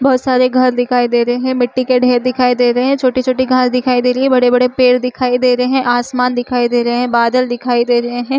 बहुत सारे घर दिखाई दे रहे है मिट्टी के ढ़ेर दिखाई दे रहे है छोटी-छोटी घास दिखाई दे रही है बड़े-बड़े पेड़ दिखाई दे रहे है आसमान दिखाई दे रहे है बादल दिखाई दे रहे है।